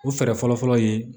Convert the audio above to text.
O fɛɛrɛ fɔlɔ fɔlɔ ye